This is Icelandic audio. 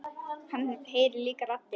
Hann heyrir líka raddir.